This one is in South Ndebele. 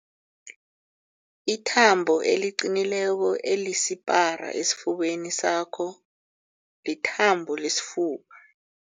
Ithambo eliqinileko elisipara esifubeni sakho lithambo lesifuba.